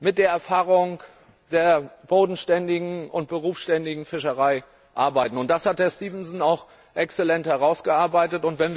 mit der Erfahrung der bodenständigen und berufsständischen Fischerei arbeiten. Das hat Herr Stevenson auch exzellent herausgearbeitet.